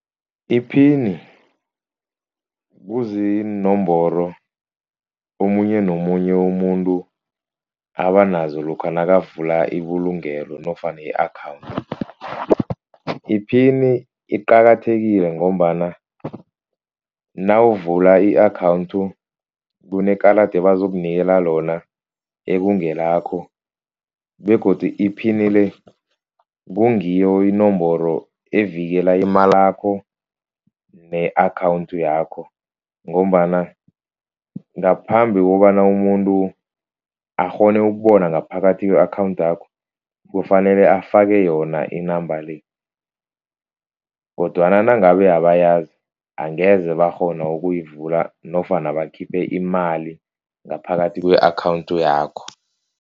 Iphini kuziinomboro omunye nomunye umuntu abanazo lokha nakavula ibulungelo nofana i-account. Iphini iqakathekile ngombana nawuvula i-account kunekarada abazokunikela lona ekungelakho begodu iphini le kungiyo inomboro evikela imalakho ne-account yakho. Ngombana ngaphambi kobana umuntu akghone ukubona ngaphakathi kwe-account yakho. Kufanele afake yona inamba le kodwana nangabe abayazi angeze bakghona ukuyivula nofana bakhiphe imali ngaphakathi kwe-account yakho.